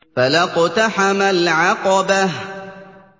فَلَا اقْتَحَمَ الْعَقَبَةَ